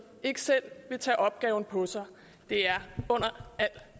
ikke selv vil tage opgaven på sig det er under al